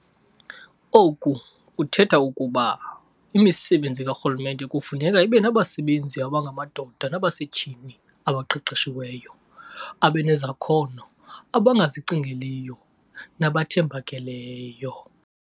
Oku kuthetha ukuba imisebenzi karhulumente kufuneka ibenabasebenzi abangamadoda nabasetyhini abaqeqeshiweyo, abanezakhono, abangazicingeliyo nabathembakeleyo.